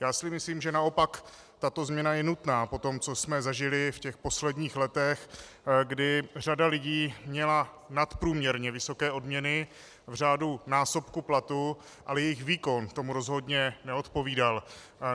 Já si myslím, že naopak tato změna je nutná po tom, co jsme zažili v těch posledních letech, kdy řada lidí měla nadprůměrně vysoké odměny v řádu násobku platu, ale jejich výkon tomu rozhodně neodpovídal.